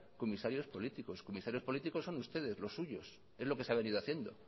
comisarios políticos comisarios políticos son ustedes los suyos es lo que se ha venido haciendo